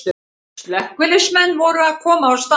Slökkviliðsmenn voru að koma á staðinn